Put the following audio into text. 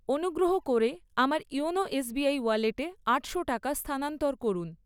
অনুগ্রহ করে আমার ইওনো এসবিআই ওয়ালেটে আটশো টাকা স্থানান্তর করুন।